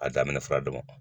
A daminɛ fura damadɔ